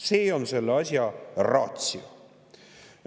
See on selle asja ratio.